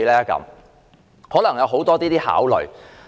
箇中可能有很多考慮。